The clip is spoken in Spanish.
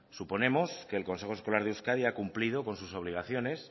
suponemos que el consejo escolar de euskadi ha cumplido con sus obligaciones